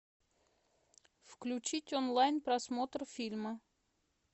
включить онлайн просмотр фильма